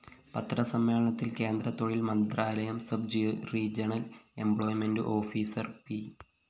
പത്രസമ്മേളനത്തില്‍ കേന്ദ്രതൊഴില്‍ മന്ത്രാലയം sub regional employment officer P